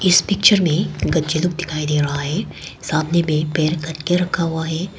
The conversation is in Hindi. इस पिक्चर में दिखाई दे रहा है सामने में पेड़ काट के रखा हुआ है।